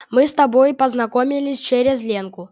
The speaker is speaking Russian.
мы с тобой познакомились через ленку